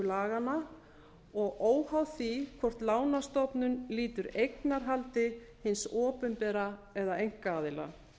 laganna og óháð því hvort lánastofnun lýtur eignarhaldi hins opinbera eða einkaaðila